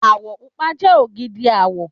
Àwọ̀ pupa jẹ ògidì àwọ̀